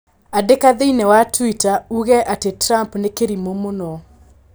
Andĩka thĩinĩi wa Twitter uuge ati Trump nĩ kĩrimũ mũno